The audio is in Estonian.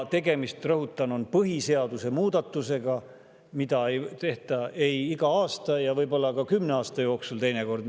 Tegemist on, rõhutan, põhiseaduse muutmisega, mida ei tehta iga aasta, teinekord võib-olla ka kümne aasta jooksul.